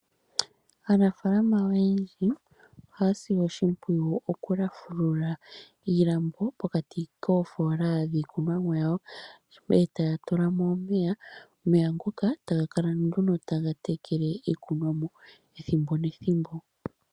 Aanafaalama oyendji ohaa sile oshimpwiyu okulafulula iilambo pokati koofoola dhiikunwa mo yawo, e taa tula mo omeya. Omeya ngoka, ta ga kala nduno taga tekele iikunwa mo, ethimbo nethimbo.